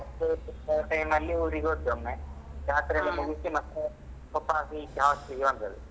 Time ಅಲ್ಲಿ ಊರಿಗೋದ್ದ್ ಒಮ್ಮೆ ಜಾತ್ರೆಯಲ್ಲ ಮುಗಿಸಿ ಮತ್ತೆ ವಪಾಸ್ ಈಚೆ hostel ಗೆ ಬಂದದ್ದು.